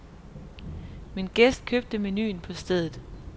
Min gæst købte menuen på stedet.